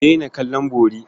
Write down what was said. Ku daina kallon bori.